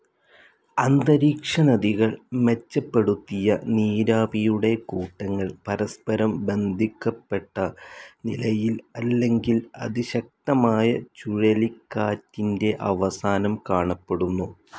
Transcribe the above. അന്തരീക്ഷനദികൾ മെച്ചപ്പെടുത്തിയ നീരാവിയുടെ കൂട്ടങ്ങൾ പരസ്പരം ബന്ധിക്കപെട്ട നിലയിൽ, അല്ലെങ്കിൽ അതിശക്തമായ ചുഴലി കാറ്റിന്റെ അവസാനം കാണപ്പെടുന്നു.